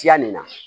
Tiyani na